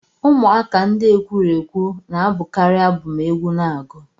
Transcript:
Ụmụaka ndị ekwurekwu na-abụkarị abụ ma egwu na agu